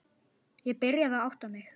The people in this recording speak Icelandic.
Ég byrjaði að átta mig.